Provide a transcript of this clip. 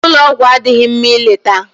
Ụlọ ọgwụ adịghị mma ileta